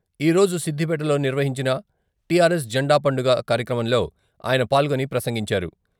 ఈరోజు సిద్దిపేటలో నిర్వహించిన టిఆర్ఎస్ జండాపండుగ కార్యక్రమంలో ఆయన పాల్గొని ప్రసంగించారు.